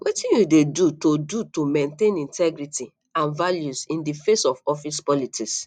wetin you dey do to do to maintain your integrity and values in di face of office politics